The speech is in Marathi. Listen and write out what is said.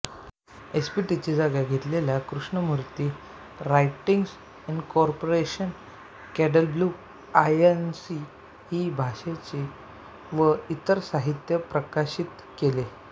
एसपीटीची जागा घेतलेल्या कृष्णमूर्ती राइटिंग्ज इंकॉर्पोरेशनने केडब्ल्यूआयएनसी ही भाषणे व इतर साहित्य प्रकाशित केले